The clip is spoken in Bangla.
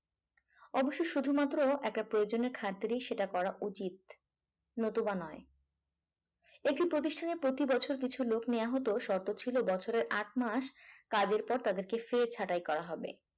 অবশ্য শুধুমাত্র একটা প্রয়োজন ক্ষেত্রে সেটা করা উচিত নতুবা নয় একটি প্রতিষ্ঠানে প্রতিবছর কিছু লোক নেওয়া হতো শর্ত ছিল বছরে আট মাস কাজের পর তাদেরকে ফের ছাটাই করা হবে।